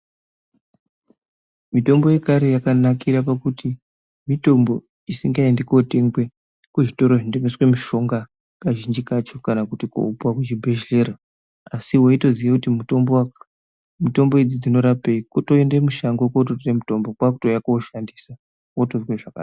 Mitombo yekare yakanakire pakuti mitombo isingaendi kootengwe kuzvitoro zvinotengeswe mishonga kazhinji kacho kuti koopuwe kuchibhedhlera asi weitoziye kuti mutombo idzi dzinorapei kutoende mushango kootore mutombo kwakutouye kooshandisa wotozwe zvakanaka.